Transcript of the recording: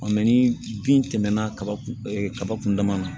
mɛ ni bin tɛmɛna kaba kun kaba kun dama na